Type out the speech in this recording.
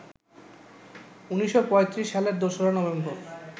১৯৩৫ সালের ২রা নভেম্বর